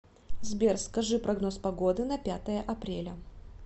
сбер скажи прогноз погоды на пятое апреля